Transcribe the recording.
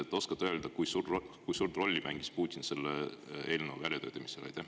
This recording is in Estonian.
Kas oskad öelda, kui suurt rolli mängis Putin selle eelnõu väljatöötamisel?